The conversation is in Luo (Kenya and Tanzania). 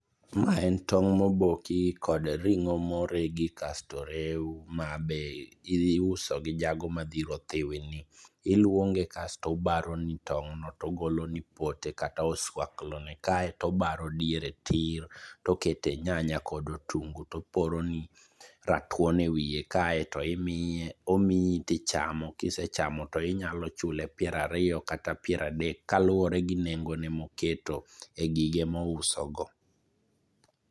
mae en tong moboki kod ringo moregi kasto orew ma iuso gi jago madhiro othiwi ni iluonge kasto obaroni tong noto togolo ni pote kata oswaklo ne kasto obaron diere tir kasto oketo tokete nyanya kod otungu toporo ni ratuon e wiye kae to omiyi to ichamo kisechamo to inyalo chule piero ariyo kata piero adek kaluwore gi nengo ne moketo e gige mo uso go.